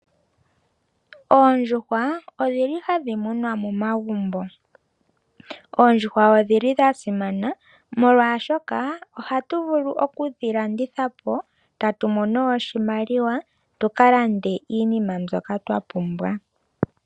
Oondjuhwa odhili hadhi munwa momagumbo. Oondjuhwa odhili dha simana molwaashoka ohatu vulu okudhi landitha po tatu mono oshimaliwa tuka lande iinima mbyoka twa pumbwa.